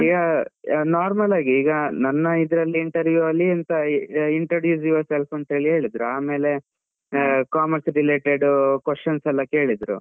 ಈಗ normal ಆಗಿ ಈಗ ನನ್ನ ಇದ್ರಲ್ಲಿ interview ಅಲ್ಲಿ ಎಂತ introduce your self ಅಂತ ಹೇಳಿ ಹೇಳಿದ್ರು, ಆಮೇಲೆ ಆ commerce related questions ಎಲ್ಲ ಕೇಳಿದ್ರು.